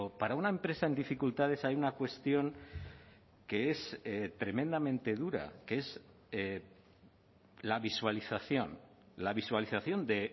para una empresa en dificultades hay una cuestión que es tremendamente dura que es la visualización la visualización de